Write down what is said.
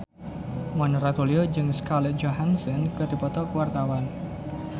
Mona Ratuliu jeung Scarlett Johansson keur dipoto ku wartawan